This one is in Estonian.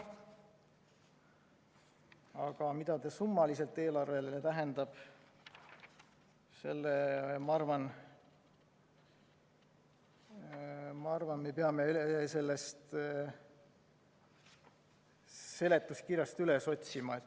Aga mida see summaliselt eelarvele tähendab, selle, ma arvan, me peame seletuskirjast üles otsima.